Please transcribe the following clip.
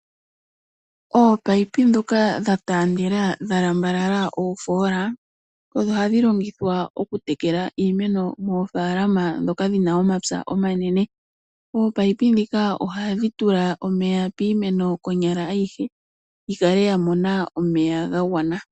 Ominino ndhono dhataandela dhalandula ofoola ohadhi longithwa okutekela iimeno mofaalama ndhoka dhina omapya omanene. Ominino dhika ihadhi tula omeya piimeno ayihe konyala yikale yamona omeya ga gwana.